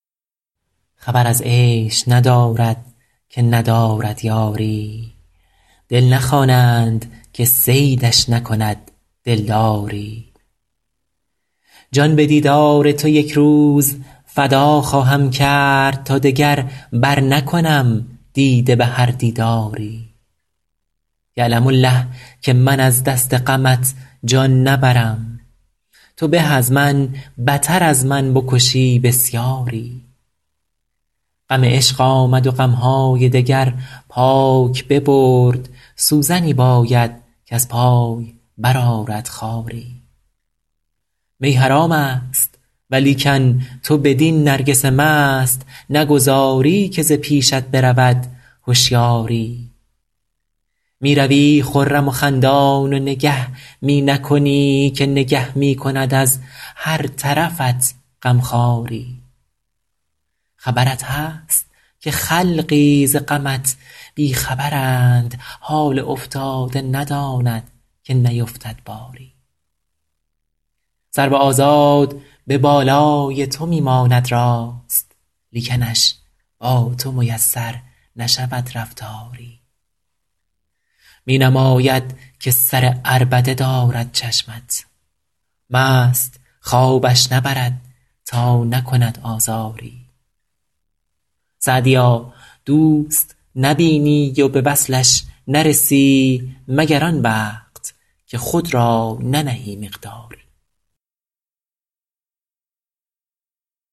خبر از عیش ندارد که ندارد یاری دل نخوانند که صیدش نکند دلداری جان به دیدار تو یک روز فدا خواهم کرد تا دگر برنکنم دیده به هر دیداری یعلم الله که من از دست غمت جان نبرم تو به از من بتر از من بکشی بسیاری غم عشق آمد و غم های دگر پاک ببرد سوزنی باید کز پای برآرد خاری می حرام است ولیکن تو بدین نرگس مست نگذاری که ز پیشت برود هشیاری می روی خرم و خندان و نگه می نکنی که نگه می کند از هر طرفت غم خواری خبرت هست که خلقی ز غمت بی خبرند حال افتاده نداند که نیفتد باری سرو آزاد به بالای تو می ماند راست لیکنش با تو میسر نشود رفتاری می نماید که سر عربده دارد چشمت مست خوابش نبرد تا نکند آزاری سعدیا دوست نبینی و به وصلش نرسی مگر آن وقت که خود را ننهی مقداری